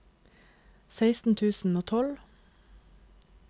seksten tusen og tolv